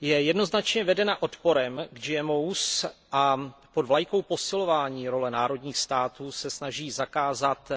Je jednoznačně vedena odporem k GMO a pod vlajkou posilování role národních států se snaží zakázat